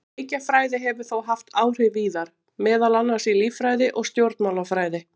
Leikjafræði hefur þó haft áhrif víðar, meðal annars í líffræði og stjórnmálafræði.